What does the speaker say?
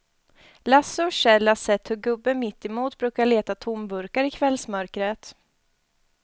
Lasse och Kjell har sett hur gubben mittemot brukar leta tomburkar i kvällsmörkret.